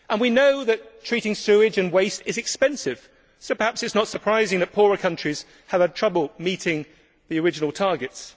We know that treating sewage and waste is expensive so perhaps it is not surprising that poorer countries have had trouble meeting the original targets.